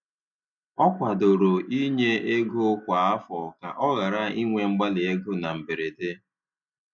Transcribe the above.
Ọ kwadoro inye ego kwa afọ ka ọ ghara inwe mgbali ego na mberede